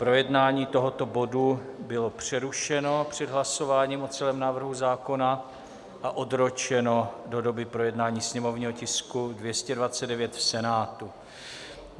Projednávání tohoto bodu bylo přerušeno před hlasováním o celém návrhu zákona a odročeno do doby projednání sněmovního tisku 229 v Senátu.